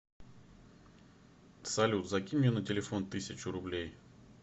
салют закинь мне на телефон тысячу рублей